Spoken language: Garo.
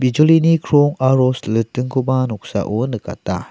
bijolini krong aro silitingkoba noksao nikata.